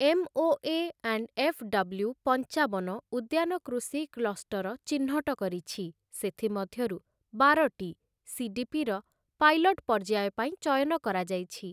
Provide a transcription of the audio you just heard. MoA. And FW. ପଞ୍ଚାବନ ଉଦ୍ୟାନ କୃଷି କ୍ଲଷ୍ଟର ଚିହ୍ନଟ କରିଛି, ସେଥି ମଧ୍ୟରୁ ବାରଟି ସି.ଡି.ପି.ର ପାଇଲଟ୍ ପର୍ଯ୍ୟାୟ ପାଇଁ ଚୟନ କରାଯାଇଛି ।